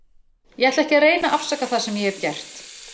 Ég ætla ekki að reyna að afsaka það sem ég hef gert.